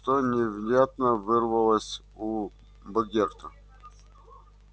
что невнятно вырвалось у богерта